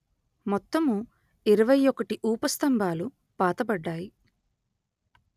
మొత్తము ఇరవై ఒకటి ఊపస్థంభాలు పాతబడ్డాయి